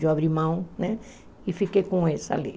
Eu abri mão né e fiquei com essa ali.